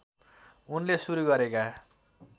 उनले सुरु गरेका